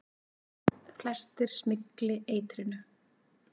Flestir smygli eitrinu.